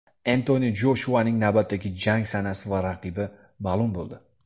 Entoni Joshuaning navbatdagi jang sanasi va raqibi ma’lum bo‘ldi.